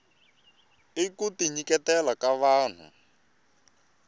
i kuti nyiketela ka vahnu